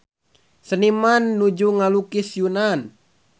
Seniman nuju ngalukis Yunan